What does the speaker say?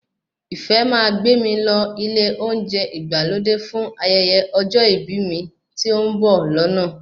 Ìfẹ́ máa gbé mi lọ ilé oúnjẹ ìgbàlódé fún ayẹyẹ ọjọ́ ìbí mi tí ó ń bọ̀ lọ́nà